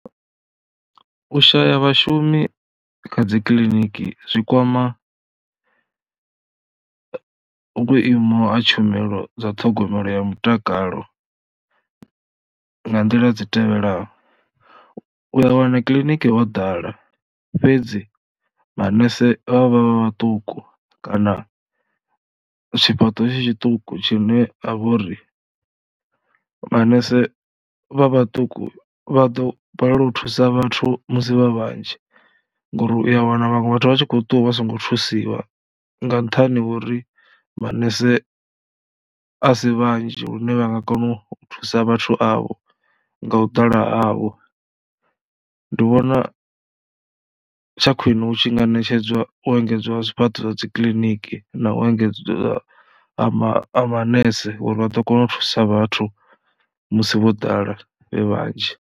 U shaya vhashumi kha dzi kiliniki zwi kwama vhuimo ha tshumelo dza ṱhogomelo ya mutakalo nga nḓila dzi tevhelaho, u ya wana kiḽiniki ho ḓala fhedzi manese vha vha vha vhaṱuku kana tshifhaṱo tshi tshiṱuku tshine ha vha uri manese vha vhaṱuku vha ḓo balelwa u thusa vhathu musi vha vhanzhi, ngori u ya wana vhaṅwe vhathu vha tshi khou ṱuwa vha songo thusiwa nga nṱhani ho uri manese a si vhanzhi lune vha nga kona u thusa vhathu avho nga u ḓala havho. Ndi vhona tsha khwine hu tshi nga ṋetshedzwa u engedzwa zwifhaṱo zwa dzi kiḽiniki na u engedza ha ma ha manese uri vha ḓo kona u thusa vhathu musi vho ḓala vhe vhanzhi